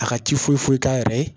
A ka ci foyi foyi k'a yɛrɛ ye